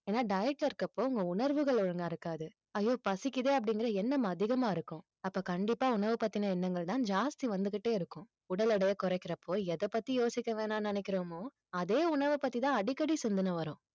ஏன்னா diet ல இருக்கிற அப்போ உங்க உணர்வுகள் ஒழுங்கா இருக்காது ஐயோ பசிக்குதே அப்படிங்கிற எண்ணம் அதிகமா இருக்கும் அப்ப கண்டிப்பா உணவு பத்தின எண்ணங்கள்தான் ஜாஸ்தி வந்துகிட்டே இருக்கும் உடல் எடையை குறைக்கிறப்போ எதைப்பத்தி யோசிக்க வேணாம்னு நினைக்கிறோமோ அதே உணவை பத்திதான் அடிக்கடி சிந்தன வரும்